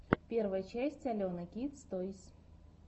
первая часть алены кидс тойс